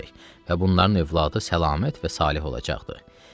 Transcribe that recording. Və bunların övladı səlamət və saleh olacaqdır.